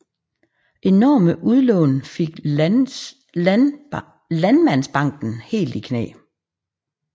Enorme udlån fik Landmandsbanken helt i knæ